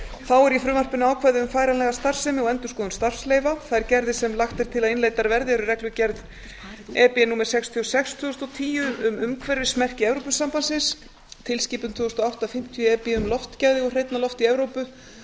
þá er í frumvarpinu ákvæði um færanlega starfsemi og endurskoðun starfsleyfa þær gerðir sem lagt er til að innleiddar verði eru reglugerð e b númer sextíu og sex tvö þúsund og tíu um umhverfismerki evrópusambandsins tilskipun tvö þúsund og átta fimmtíu e b um loftgæði og hreinna loft í evrópu